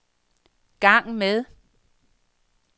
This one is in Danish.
gang med